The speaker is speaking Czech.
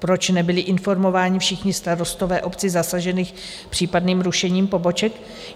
Proč nebyli informováni všichni starostové obcí zasažených případným rušením poboček?